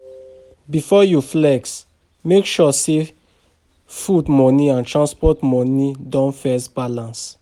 Before you flex, make sure say food money and transport money don first balance.